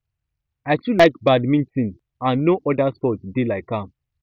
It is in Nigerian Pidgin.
i too like badminton and no other sport dey like am